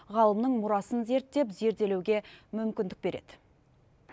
ғалымның мұрасын зерттеп зерделеуге мүмкіндік береді